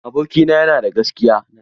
Abokina ya na da gaskiya.